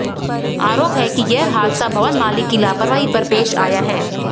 आरोप है कि यह हादसा भवन मालिक की लापरवाही पर पेश आया है